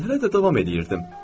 Mən hələ də davam eləyirdim.